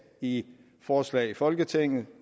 i forslag i folketinget